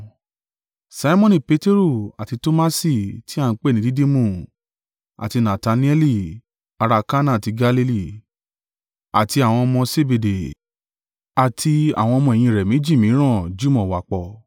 Simoni Peteru, àti Tomasi tí a ń pè ní Didimu, àti Natanaeli ará Kana ti Galili, àti àwọn ọmọ Sebede, àti àwọn ọmọ-ẹ̀yìn rẹ̀ méjì mìíràn jùmọ̀ wà pọ̀.